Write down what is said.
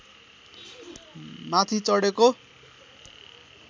माथि चढेको